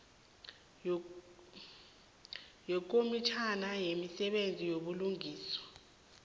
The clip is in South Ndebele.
yekomitjhana yemisebenzi yobulungiswa